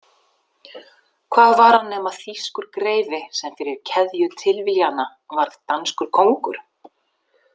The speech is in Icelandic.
Hvað var hann nema þýskur greifi sem fyrir keðju tilviljana varð danskur kóngur?